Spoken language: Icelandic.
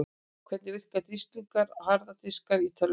Hvernig verka disklingar og harðir diskar í tölvum?